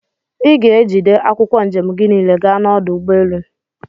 Iga egide akwụkwọ njem gi nile gaa na ọdụ ụgbọelu!!